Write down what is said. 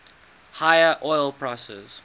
higher oil prices